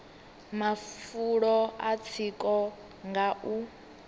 mafulo a tsiko nga u